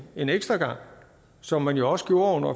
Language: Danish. en ekstra gang som man jo også gjorde under